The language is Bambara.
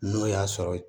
N'o y'a sɔrɔ